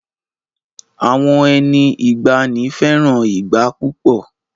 Àwọn ẹni ìgbanì fẹràn ìgbá púpọ̀